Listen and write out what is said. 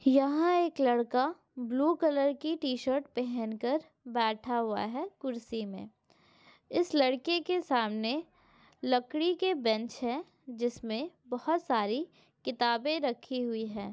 यहा एक लड़का ब्लू कलर की टीशर्ट पहनकर बैठा हुआ है कुर्सी मे इस लड़के के सामने लकड़ी के बेंच है जिसमे बहुत सारी किताबे रखी हुई है।